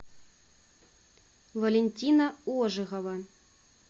валентина ожегова